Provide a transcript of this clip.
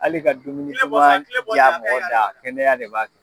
Hali ka dumuni duman jaa mɔgɔ da kɛnɛya de b'a kɛ.